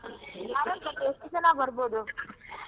ಹಾಗಾದ್ರೆ ಎಷ್ಟು ಜನ ಬರಬೋದು?